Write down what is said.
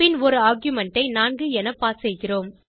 பின் ஒரு ஆர்குமென்ட் ஐ 4 என பாஸ் செய்கிறோம்